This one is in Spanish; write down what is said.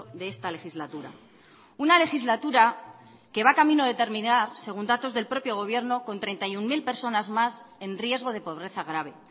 de esta legislatura una legislatura que va camino de terminar según datos del propio gobierno con treinta y uno mil personas más en riesgo de pobreza grave